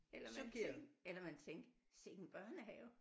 Eller man tænker eller man tænker sikke en børnehave